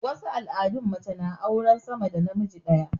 wasu al'adun mace na auran sa da namiji ɗaya